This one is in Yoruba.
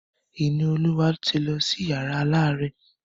Ìníolúwa ti lọ sí yàrá alárẹ̀.